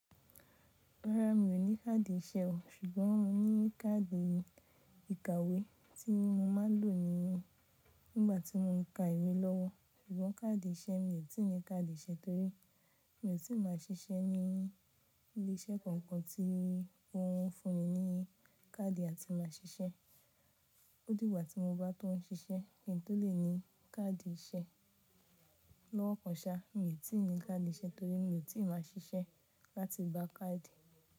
Rárá, mi ò ní káàdì ìṣe o. Ṣùgbọ́n mo ní káàdì ìkàwé tí mo má ń lò nígbàtí mo ń ka ìwé lọ́wọ́. Ṣùgbọ́n káàdì ìṣe mi ò tí ì ní káàdì ìṣe torí mi ò tí ì máa ṣiṣẹ́ ní ilé-iṣẹ́ kankan tí wọn fun mi ní káàdì àti máa ṣiṣẹ́. Odìgbà tí mo bá tóún ṣiṣẹ́, kí n tó lè ní káàdì ìṣe lọ́wọ́ ọ̀kan ṣá, mi ò tí ì ní káàdì ìṣe torí mi ò tí ì máa ṣiṣẹ́ láti gba káàdì.